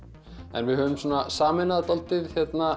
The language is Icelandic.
en við höfum sameinað dálítið